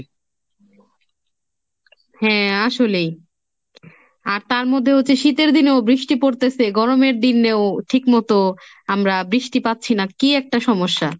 হ্যাঁ আসলেই আর তার মধ্যে হচ্ছে শীতের দিনেও বৃষ্টি পরতেছে, গরমের দিনেও ঠিক মতো আমরা বৃষ্টি পাচ্ছি না, কি একটা সমস্যা।